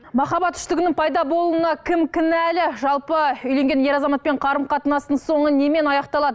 махаббат үштігінің пайда болуына кім кінәлі жалпы үйленген ер азаматпен қарым қатынастың соңы немен аяқталады